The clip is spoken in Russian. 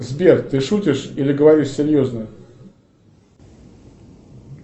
сбер ты шутишь или говоришь серьезно